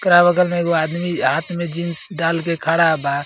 ओकरा बगल में एगो आदमी हाथ में जीन्स डाल के खड़ा बा।